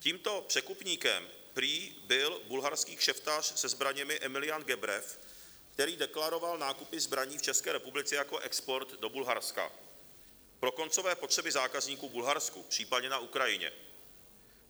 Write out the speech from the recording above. Tímto překupníkem prý byl bulharský kšeftař se zbraněmi Emilian Gebrev, který deklaroval nákupy zbraní v České republice jako export do Bulharska pro koncové potřeby zákazníků v Bulharsku, případně na Ukrajině.